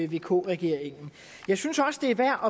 vk regeringen jeg synes også det er værd